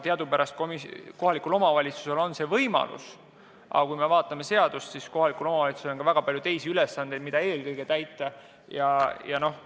Teadupärast kohalikul omavalitsusel on see võimalus, aga kui me vaatame seadust, siis näeme, et kohalikul omavalitsusel on ka väga palju teisi ülesandeid, mida eelkõige tuleb täita.